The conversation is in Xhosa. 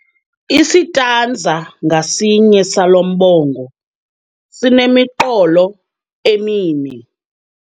Isitanza ngasinye salo mbongo sinemiqolo emine.